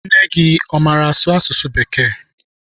Nne gị amaara asụ asụsụ bekee?